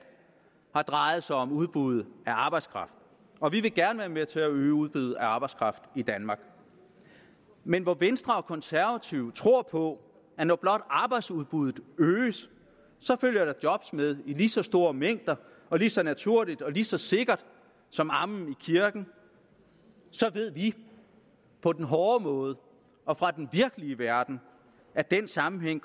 har drejet sig om udbuddet af arbejdskraft og vi vil gerne være med til at øge udbuddet af arbejdskraft i danmark men hvor venstre og konservative tror på at når blot arbejdsudbuddet øges følger der job med i lige så store mængder og lige så naturligt og lige så sikkert som amen i kirken så ved vi på den hårde måde og fra den virkelige verden at den sammenhæng